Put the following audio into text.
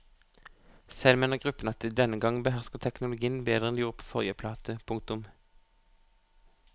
Selv mener gruppen at de denne gang behersker teknologien bedre enn de gjorde på forrige plate. punktum